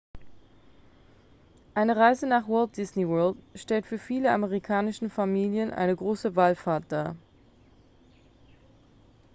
eine reise nach walt disney world stellt für viele amerikanische familien eine große wallfahrt dar